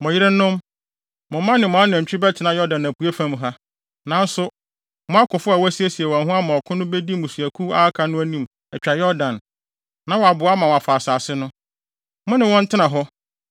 Mo yerenom, mo mma ne mo anantwi bɛtena Yordan apuei fam ha. Nanso, mo akofo a wɔasiesie wɔn ho ama ɔkɔ no bedi mmusuakuw a aka no anim atwa Yordan, na wɔaboa ma wɔafa asase no. Mo ne wɔn ntena hɔ